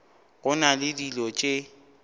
go na le dilo tše